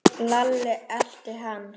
Lalli elti hann.